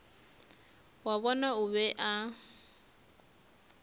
wa bona o be a